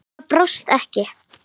Það brást ekki.